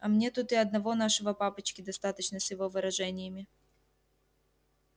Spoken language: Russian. а мне тут и одного нашего папочки достаточно с его выражениями